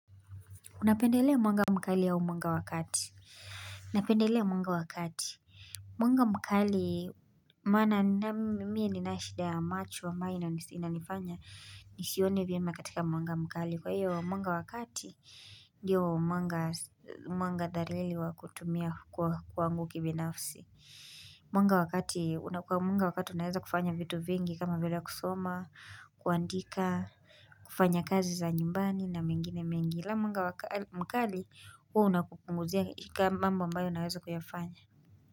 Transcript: Unapendelea mwanga mkali au mwanga wakati. Unapendelea mwanga wakati. Mwanga mkali, maana mimiye ni nashida ya macho ambayo inanifanya nisione vyema katika mwanga mkali. Kwa hiyo, mwanga wakati, diyo mwanga dharili wa kutumia kwa ngu kibinafsi. Mwanga wakati, unapendelea mwanga wakati, unapendelea mwanga wakati, unapendelea mwanga wakati, unapendelea mwanga wakati, unapendelea mwanga wakati, unapendelea mwanga wakati, unapendelea mwanga wakati. Mkali huu unakupunguzia ikamambo ambayo naweza kuyafanya.